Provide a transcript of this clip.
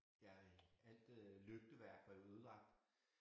Ja alt øh lygteværk var jo ødelagt